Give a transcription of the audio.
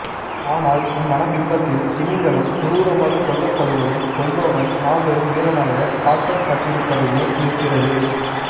ஆனால் என் மனப்பிம்பத்தில் த்மிங்கிலம் குரூரமாக கொல்லப்படுவதும் கொல்பவன் மாபெரும் வீரனாக காட்டப்பட்டிருப்பதுமே நிற்கிறது